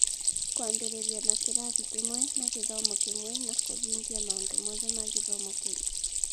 Kwambĩrĩria na kĩrathi kĩmwe na gĩthomo kĩmwe na kũhingia maũndũ mothe ma gĩthomo kĩu.